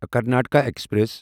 Karnataka express